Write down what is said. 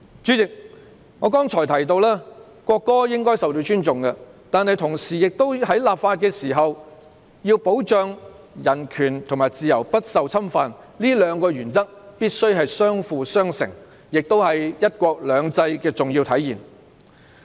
主席，我剛才提到，國歌應該受到尊重，但在立法時必須保障市民的人權和自由不受侵犯，這兩個原則必須相輔相成，亦是"一國兩制"的重要體現。